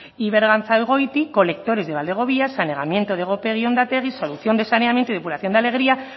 y berganzagoiti colectores de valdegovia saneamiento de gopegi ondategi solución de saneamiento y depuración de alegria